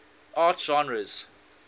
art genres